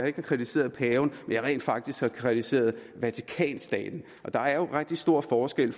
ikke har kritiseret paven men at jeg rent faktisk har kritiseret vatikanstaten der er jo rigtig stor forskel